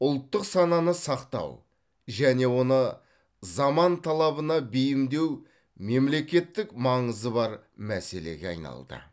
ұлттық сананы сақтау және оны заман талабына бейімдеу мемлекеттік маңызы бар мәселеге айналды